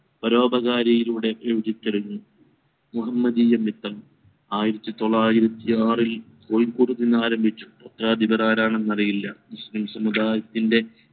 പരോപകരീളുടെ കാരിലുടെ എഴുത്തു തുടങ്ങി ആയിരത്തി തൊള്ളായിരത്തി ആറിൽ കോഴിക്കോട് നിന്നാരംഭിചു പത്രാധിപർ ആരാണെന്നറിഞ്ഞീലാ മുസ്ലിം സമുദായത്തിൻറെ